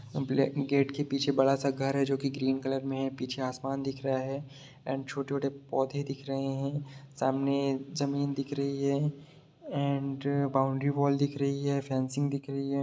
के गेट के पीछे बड़ा सा घर है जो कि ग्रीन कलर में है पीछे आसमान दिख रहा है एंड छोटे-छोटे पौधे दिख रहे हैं सामने जमीन दिख रही है एंड अ बाउंड्री वॉल दिख रही है फेंसिंग दिख रही है।